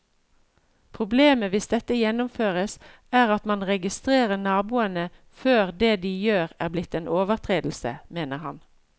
Problemet hvis dette gjennomføres, er at man registrerer naboene før det de gjør er blitt en overtredelse, mener han.